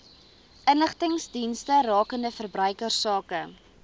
inligtingsdienste rakende verbruikersake